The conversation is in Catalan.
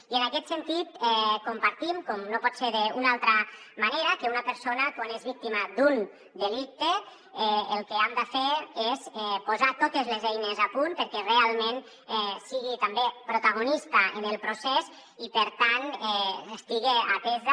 i en aquest sentit compartim com no pot ser d’una altra manera que una persona quan és víctima d’un delicte el que hem de fer és posar totes les eines a punt perquè realment sigui també protagonista en el procés i per tant estiga atesa